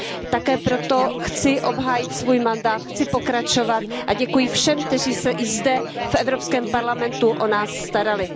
Také proto chci obhájit svůj mandát, chci pokračovat a děkuji všem, kteří se i zde v Evropském parlamentu o nás starali.